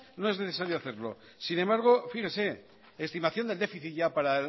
no es necesario hacerlo sin embargo fíjese estimación del déficit ya para